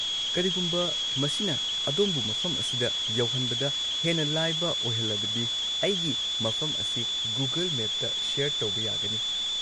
ꯀꯔꯤꯒꯨꯝꯕ ꯃꯁꯤꯅ ꯑꯗꯣꯝꯕꯨ ꯃꯐꯝ ꯑꯁꯤꯗ ꯌꯧꯍꯟꯕꯗ ꯍꯦꯟꯅ ꯂꯥꯏꯕ ꯑꯣꯏꯍꯜꯂꯕꯗꯤ ꯑꯩꯒꯤ ꯃꯐꯝ ꯑꯁꯤ ꯒꯨꯒꯜ ꯃꯦꯞꯇ ꯁꯦꯌꯔ ꯇꯧꯕ ꯌꯥꯒꯅꯤ꯫